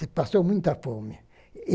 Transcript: Se passou muita fome. E